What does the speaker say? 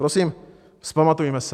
Prosím, vzpamatujme se.